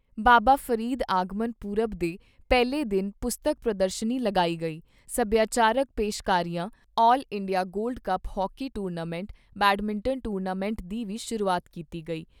ਬਾਬਾ ਫਰੀਦ ਆਗਮਨ ਪੁਰਬ ਦੇ ਪਹਿਲੇ ਦਿਨ ਪੁਸਤਕ ਪ੍ਰਦਰਸ਼ਨੀ ਲਗਾਈ ਗਈ, ਸਭਿਆਚਾਰਕ ਪੇਸ਼ਕਾਰੀਆਂ, all India gold cup hockey tournament, badminton tournament ਦੀ ਵੀ ਸ਼ੁਰੂਆਤ ਕੀਤੀ ਗਈ।